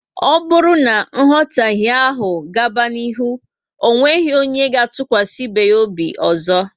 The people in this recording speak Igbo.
O bụrụ na nghotahe áhù gaba n'ihu, onweghi onye ga tukwasi ibe ya obi ọzọ